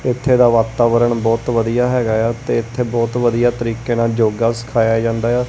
ਇੱਥੇ ਦਾ ਵਾਤਾਵਰਣ ਬਹੁਤ ਵਧੀਆ ਹੈਗਾ ਆ ਤੇ ਇੱਥੇ ਬਹੁਤ ਵਧੀਆ ਤਰੀਕੇ ਨਾਲ ਯੋਗਾ ਸਿਖਾਇਆ ਜਾਂਦਾ ਆ।